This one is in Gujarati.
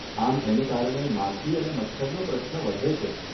આમ એને કારણે, માખી અને મચ્છરનો પ્રશ્ન વધે છે.